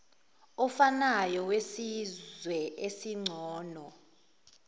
ofanayo wesizwe esingcono